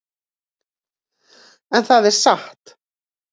En það er satt.